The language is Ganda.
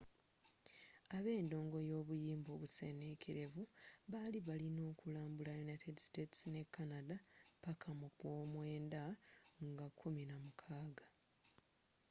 abendongo y'obuyimba obusenenkerevu bali balina okulambula united states ne canada paka mu gwomwenda nga 16